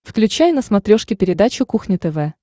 включай на смотрешке передачу кухня тв